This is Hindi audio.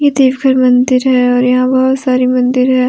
ये देव घर मंदिर है और यहां बहुत सारे मंदिर है।